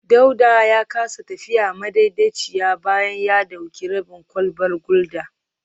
Dauda ya kasa tafiya madaidaiciya bayan ya dauki rabin kwalbar gulda